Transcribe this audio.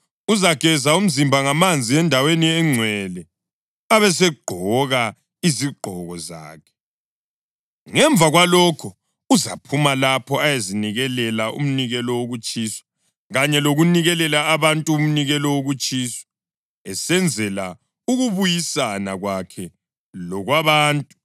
Uzageza umzimba ngamanzi endaweni engcwele, abesegqoka izigqoko zakhe. Ngemva kwalokho uzaphuma lapho ayezinikelela umnikelo wokutshiswa kanye lokunikelela abantu umnikelo wokutshiswa, esenzela ukubuyisana kwakhe lokwabantu.